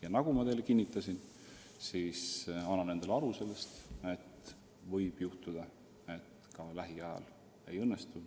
Ja nagu ma teile kinnitasin, ma annan endale aru, et võib juhtuda, et see ka lähiajal ei õnnestu.